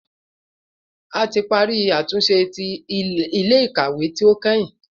Ti pari atunṣe ti ile-ikawe ti o kẹhin